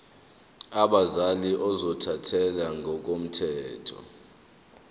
abazali ozothathele ngokomthetho